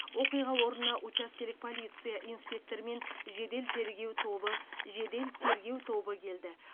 оқиға орнына учаскелік полиция инспекторы мен жедел тергеу тобы жедел тергеу тобы келді